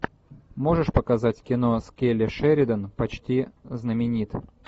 можешь показать кино с келли шеридан почти знаменит